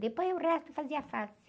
Depois o resto fazia fácil.